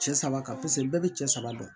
Cɛ saba ka bɛɛ bɛ cɛ saba dɔn